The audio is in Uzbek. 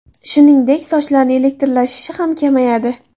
Shuningdek, sochlarni elektrlashishi ham kamayadi.